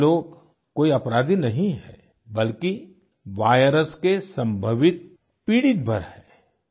ऐसे लोग कोई अपराधी नहीं हैं बल्कि वायरस के संभावित पीड़ितभर हैं